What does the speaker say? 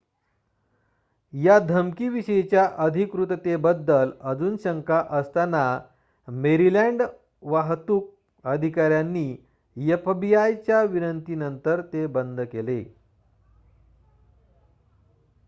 या धमकी विषयीच्या अधिकृततेबद्दल अजून शंका असताना मेरीलँड वाहतून अधिकाऱ्यांनी एफबीआय च्या विनंती नंतर ते बंद केले